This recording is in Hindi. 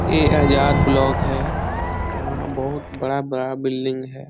ए आजाद ब्लॉक है यहाँ बहुत बड़ा बड़ा बिल्डिंग है।